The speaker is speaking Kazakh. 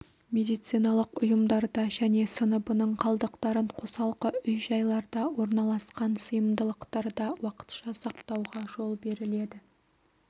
медициналық ұйымдарда және сыныбының қалдықтарын қосалқы үй-жайларда орналасқан сыйымдылықтарда уақытша сақтауға жол беріледі